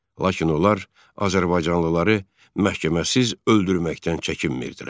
Lakin onlar azərbaycanlıları məhkəməsiz öldürməkdən çəkinmirdilər.